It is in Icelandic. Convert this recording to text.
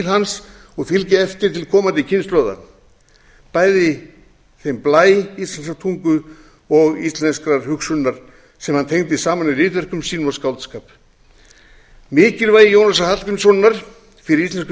hans og fylgja eftir til komandi kynslóða bæði þeim blæ íslenskrar náttúru og íslenskrar hugsunar sem hann tengdi saman í ritverkum sínum og skáldskap mikilvægi jónasar hallgrímssonar fyrir íslensku